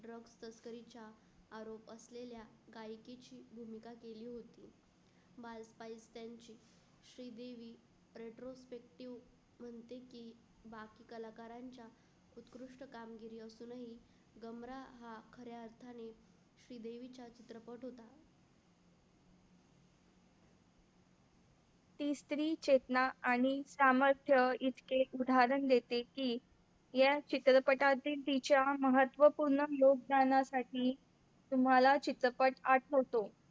ती स्त्री चेतना आणि सामर्थ्य इतके उदाहरण देते की या चित्रपटातील तिच्या महत्वपूर्ण योगदानासाठी तुम्हाला चित्रपट आठवतो